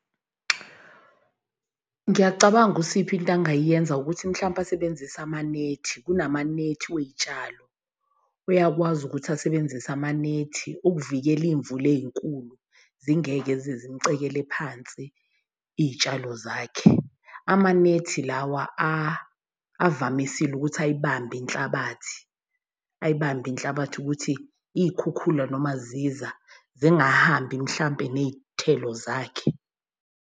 Ngiyacabanga uSipho into angayenza ukuthi mhlawumpe asebenzise amanethi kunamanethi wey'tshalo. Uyakwazi ukuthi asebenzise amanethi uvikela iy'mvula ey'nkulu, zingeke zize zimucekele phansi iy'tshalo zakhe. Amanethi lawa avamisile ukuthi ayibambe inhlabathi ayibambe inhlabathi ukuthi iy'khukhula noma ziza zingahambi mhlampe ney'thelo zakhe.